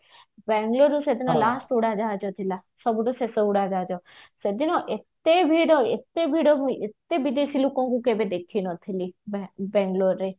ବାଙ୍ଗାଲୋର ରୁ ସେଦିନ ଉଡାଜାହାଜ ଥିଲା ସବୁଠୁ ଶେଷ ଉଡାଜାହାଜ ସେଦିନ ଏତେଭିଡ ଏତେଭିଡ ଯେ ଏତେ ବିଦେଶୀ ଲୋକଙ୍କୁ କେବେବି ଦେଖି ନଥିଲି ରାତି ପାହିଲେ ଏବେ